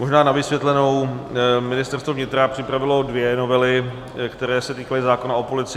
Možná na vysvětlenou: Ministerstvo vnitra připravilo dvě novely, které se týkaly zákona o policii.